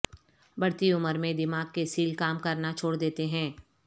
بڑھتی عمر میں دماغ کے سیل کام کرنا چھوڑ دیتے ہیں